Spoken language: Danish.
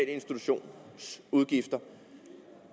institutionsudgifter